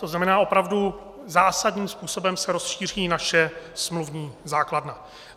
To znamená, opravdu zásadním způsobem se rozšíří naše smluvní základna.